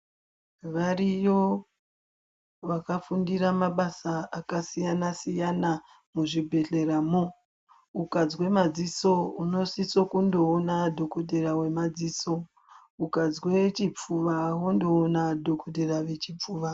Variyo vakafundira mabasa akasiyana siyana muzvibhedhleramwo ukazwa madziso unosiso kundoona dhokodheya wemadziso ukazwa chipfuva wondoona dhokodheya wechipfuva.